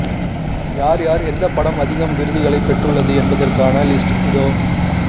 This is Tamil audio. யார் யார் எந்த படம் அதிகம் விருதுகளை பெற்றுள்ளது என்பதற்கான லிஸ்ட் இதோ